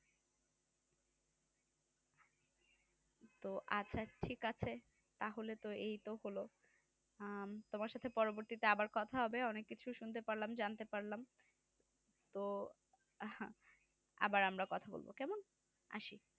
তো আচ্ছা ঠিক আছে তাহলে তো এই তো হলো আহ তোমার সাথে পরবর্তীতে আবার কথা হবে অনেক কিছু শুনতে পারলাম জানতে পারলাম তো আবার আমরা কথা বলবো কেমন আসি